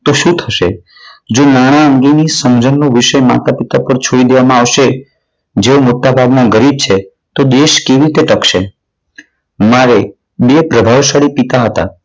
તો શું થશે? જો નાણાં અંગેની સમજણનો વિષય માતા-પિતા પર છોડી દેવામાં આવશે જેવો મોટાભાગના ગરીબ છે. તો દેશ કેવી રીતે ટકશું? મારે બે પ્રભાવશાળી પિતા હતા.